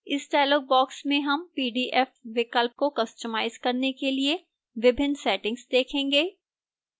इस dialog box में हम pdf विकल्प को कस्टमाइज करने के लिए विभिन्न settings देखेंगे